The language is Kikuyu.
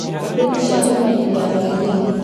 kambĩinĩ cia kũmenyithia mũingĩ